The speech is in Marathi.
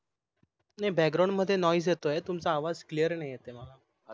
नाही BACKGROUND मध्ये NOISE येतोय तुमचं आवाज CLEAR नाही येतंय मला